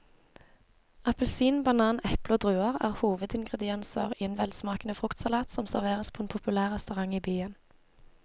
Appelsin, banan, eple og druer er hovedingredienser i en velsmakende fruktsalat som serveres på en populær restaurant i byen.